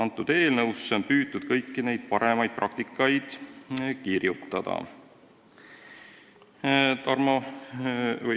Selles eelnõus on püütud kõiki paremaid praktikaid arvestada.